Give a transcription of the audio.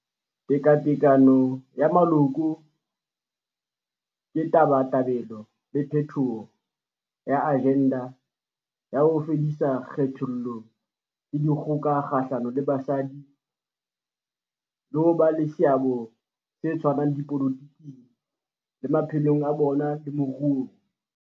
Tekatekano ya Moloko ke tabatabelo le phethoho ya ajenda ya ho fedisa kgethollo le dikgoka kgahlano le basadi le ho ba le seabo se tshwanang dipolotiking, le maphelong a bona le moruong.